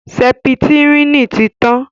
sẹpítirínì tí tán.